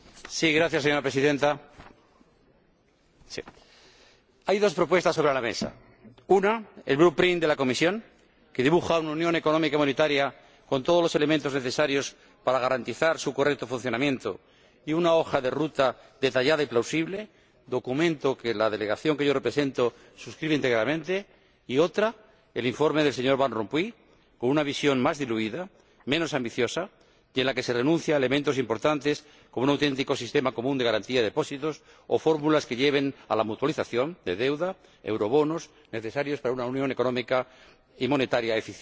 Señora Presidenta, hay dos propuestas sobre la mesa una, el de la Comisión, que dibuja una unión económica y monetaria con todos los elementos necesarios para garantizar su correcto funcionamiento y una hoja de ruta detallada y plausible —documento que la delegación que yo represento suscribe íntegramente—, y otra, el informe del señor Van Rompuy, con una visión más diluida, menos ambiciosa, y en la que se renuncia a elementos importantes, como un auténtico sistema común de garantía de depósitos o fórmulas que lleven a la mutualización de deuda, como los eurobonos, necesarios para una unión económica y monetaria eficiente.